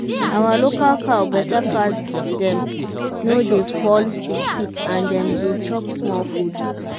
our local cow better pass dem no dey fall sick quick and dem dey chop small food.